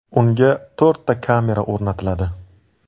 Unga to‘rtta kamera o‘rnatiladi.